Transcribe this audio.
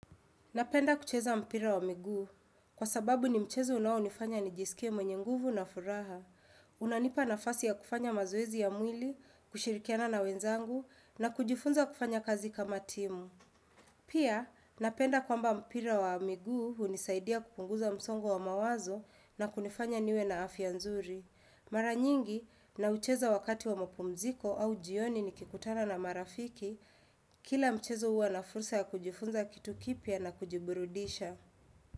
Napenda kucheza mpira wa miguu, kwa sababu ni mchezo unaonifanya nijisikie mwenye nguvu na furaha. Unanipa nafasi ya kufanya mazoezi ya mwili, kushirikiana na wenzangu, na kujifunza kufanya kazi kama timu. Pia, napenda kwamba mpira wa miguu hunisaidia kupunguza msongo wa mawazo na kunifanya niwe na afya nzuri. Mara nyingi, naucheza wakati wa mpumziko au jioni nikikutana na marafiki, kila mchezo huwa na fursa ya kujifunza kitu kipya na kujiburudisha.